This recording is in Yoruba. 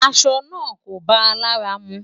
Aṣọ̀ náà kò báa làrà mú.